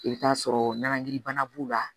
I bɛ t'a sɔrɔ nangirinbana b'u la